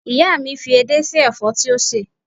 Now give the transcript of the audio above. Ìyá mi fi edé sí ẹ̀fọ́ tí ó sè